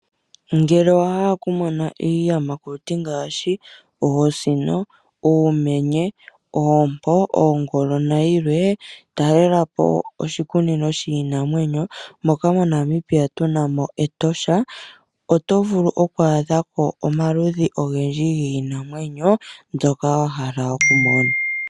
Ngele owa hala okumona iiyamakuti ngaashi : oosino, uumenye, oompo, oongolo nayilwee, talelapo oshikunino shiinamwenyo moka moNamibia tu na mEtosha. Oto vulu oku adhako omaludhi ogendji giinamwenyo ngoka wa hala okumona.